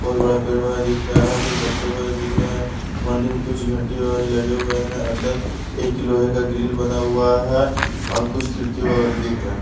बहुत बड़ा पेड़ वगैरह दिख रहा है कुछ बच्चे वगैरह दिख रहे हैं मंदिर में कुछ घंटी वगैरह लगे हुए है अंदर एक लोहे का ग्रिल बना हुआ है और कुछ खिड़की वगैरह दिख रहा है।